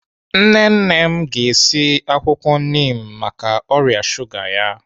Nne nne m ga-esi akwụkwọ nim maka ọrịa shuga ya.